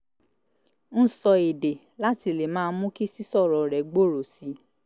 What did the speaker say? ń sọ èdè láti lè máa mú kí sísọ̀rọ̀ rẹ̀ gbòòrò sí i